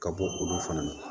Ka bɔ olu fana na